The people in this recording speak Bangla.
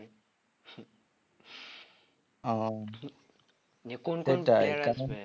ও